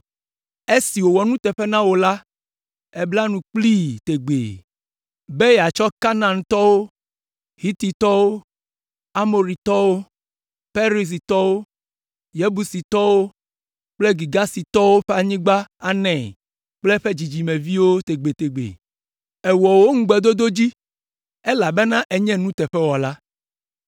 Esi wòwɔ nuteƒe na wò la, èbla nu kplii tegbee be yeatsɔ Kanaantɔwo, Hititɔwo, Amoritɔwo, Perizitɔwo, Yebusitɔwo kple Girgasitɔwo ƒe anyigba anae kple eƒe dzidzimeviwo tegbetegbe. Èwɔ wò ŋugbedodo dzi, elabena ènye nuteƒewɔla.